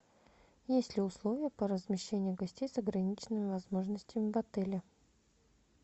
есть ли условия по размещению гостей с ограниченными возможностями в отеле